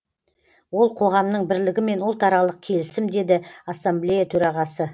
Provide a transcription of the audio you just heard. ол қоғамның бірлігі мен ұлтаралық келісім деді ассамблея төрағасы